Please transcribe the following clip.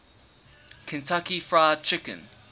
kentucky fried chicken